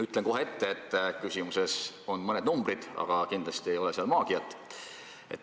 Ütlen kohe ette, et küsimus sisaldab mõningaid numbreid, aga kindlasti ei ole seal maagiat.